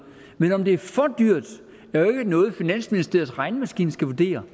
men om det er for dyrt er jo ikke noget finansministeriets regnemaskine skal vurdere